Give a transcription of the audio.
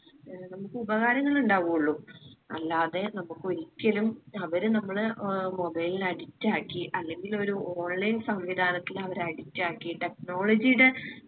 ഏർ നമ്മുക്ക് ഉപകാരങ്ങൾ ഉണ്ടാവു ഉള്ളു അല്ലാതെ നമ്മുക്ക് ഒരിക്കലും അവര് നമ്മളെ mobile ന് addict ആക്കി അല്ലെങ്കിലൊരു online സംവിധാനത്തിൽ അവർ addict ആക്കി technology യുടെ